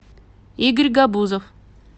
игорь габузов